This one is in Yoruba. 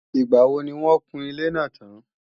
Ìgbàwo ni wọ́n o kun ilé náà tán